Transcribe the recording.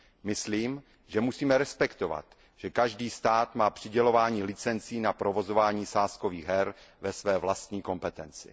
Myslím, že musíme respektovat, že každý stát má přidělování licencí na provozování sázkových her ve své vlastní kompetenci.